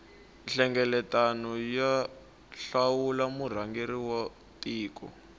nhlengeletano yo hlawula murhangeri wa tiko